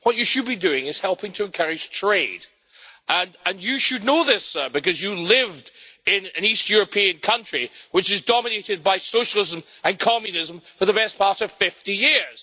What you should be doing is helping to encourage trade, and you should know this, sir, because you lived in an East European country, which was dominated by socialism and communism for the best part of 50 years.